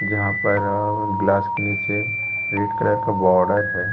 जहाँ पर ग्लास के नीचे रेड कलर का बॉर्डर हैं।